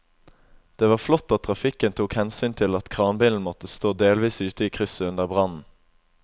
Det var flott at trafikken tok hensyn til at kranbilen måtte stå delvis ute i krysset under brannen.